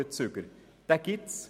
Den gibt es.